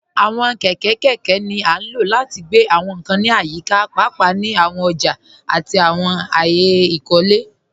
Àwọn kẹkẹ kẹkẹ ni a ló láti gbẹ̀ àwọn nkàn ní ayíkà, páápàá ni àwọn òjà àti àwọn ayé ìkólẹ.